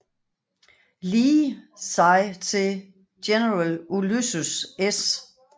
Lee sig til general Ulysses S